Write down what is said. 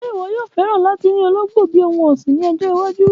Ṣe iwọ yoo fẹ lati ni ologbo bi ohun ọsin ni ọjọ iwaju?